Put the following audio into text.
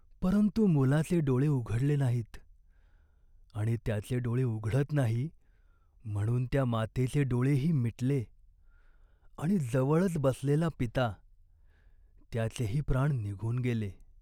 परंतु मुलाचे डोळे उघडले नाहीत आणि त्याचे डोळे उघडत नाही म्हणून त्या मातेचे डोळेही मिटले आणि जवळच बसलेला पिता, त्याचेही प्राण निघून गेले!